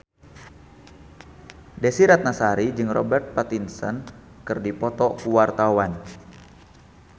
Desy Ratnasari jeung Robert Pattinson keur dipoto ku wartawan